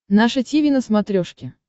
наше тиви на смотрешке